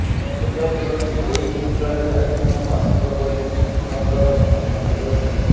ଶୁଣିବାକୁ ମିଳୁଛି ଏହି ଦୁଇ ଖେଳାଳି ଆଜୀବନ ବାସନ୍ଦ ପରି ଦଣ୍ଡର ସମ୍ମୁଖୀନ ହୋଇପାରନ୍ତି